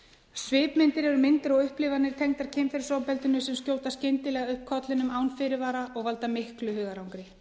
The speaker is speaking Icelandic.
svipmyndir eru myndir og upplifanir tengdar kynferðisofbeldinu sem skjóta skyndilega upp kollinum án fyrirvara og valda miklu hugarangri